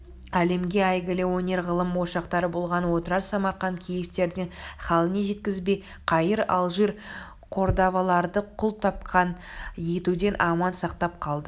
әлемге әйгілі өнер-ғылым ошақтары болған отырар самарқант киевтердің халіне жеткізбей каир алжир кордаваларды күл-талқан етуден аман сақтап қалды